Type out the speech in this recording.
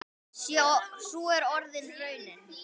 Sú er orðin raunin.